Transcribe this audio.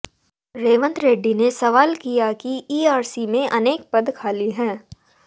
रेवंत रेड्डी ने सवाल किया कि ईआरसी में अनेक पद खाली है